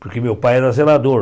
Porque meu pai era zelador.